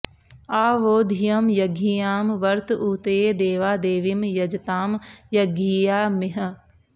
आ वो॒ धियं॑ य॒ज्ञियां॑ वर्त ऊ॒तये॒ देवा॑ दे॒वीं य॑ज॒तां य॒ज्ञिया॑मि॒ह